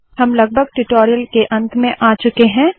हम लगभग ट्यूटोरियल के अंत में आ चुके है